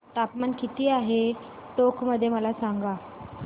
तापमान किती आहे टोंक मध्ये मला सांगा